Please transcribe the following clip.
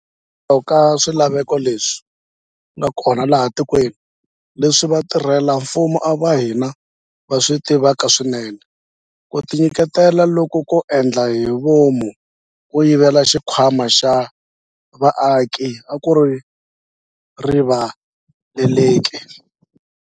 Hikokwalaho ka swilaveko leswi nga kona laha etikweni, leswi vatirhela mfumo va hina va swi tivaka swinene, ku tinyiketela loku ko endla hi vomu ko yivela xikhwama xa vaaki a ku rivaleleki.